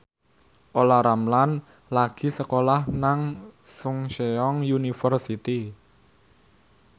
Olla Ramlan lagi sekolah nang Chungceong University